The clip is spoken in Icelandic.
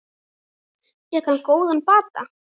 Fékk hann góðan bata.